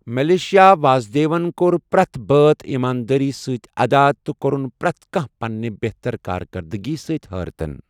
Malaysia واسدیون كو٘ر پریتھ بٲتھ ایماندٲری سۭتۍ ادا تہٕ كورٗن پریتھ كانہہ پننہِ بِہتر کارکردگی سۭتۍ حٲرتن ۔